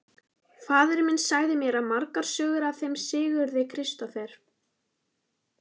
Faðir minn sagði mér margar sögur af þeim Sigurði Kristófer.